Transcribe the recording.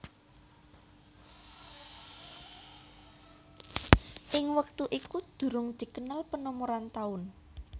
Ing wektu itu durung dikenal penomoran taun